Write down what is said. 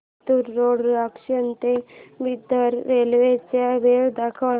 Latur road junction ते Bidar railway च्या वेळा दाखव